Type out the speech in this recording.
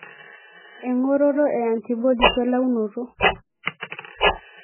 Engoroto e antibodies welaunoto.